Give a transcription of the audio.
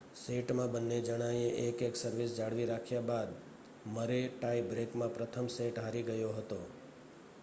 સેટમાં બંને જણાએ એક-એક સર્વિસ જાળવી રાખ્યા બાદ મરે ટાઈ બ્રેકમાં પ્રથમ સેટ હારી ગયો હતો